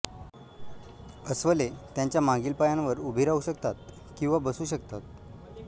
अस्वले त्यांच्या मागील पायांवर उभी राहू शकतात किंवा बसू शकतात